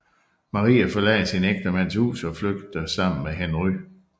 Maria forlader sin ægtemands hus og flygter sammen med Henry